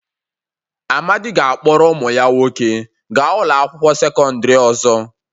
Amadi ga-akpọrọ ụmụ ya nwoke gaa ụlọ akwụkwọ sekọndrị ọzọ.